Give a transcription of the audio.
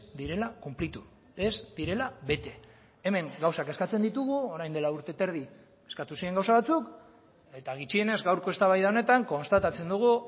direla konplitu ez direla bete hemen gauzak eskatzen ditugu orain dela urte eta erdi eskatu ziren gauza batzuk eta gutxienez gaurko eztabaida honetan konstatatzen dugu